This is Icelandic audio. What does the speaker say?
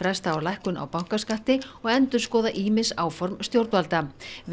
fresta á lækkun á bankaskatti og endurskoða ýmis áform stjórnvalda